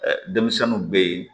Denmisɛnninw bɛ yen